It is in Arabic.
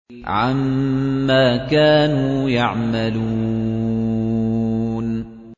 عَمَّا كَانُوا يَعْمَلُونَ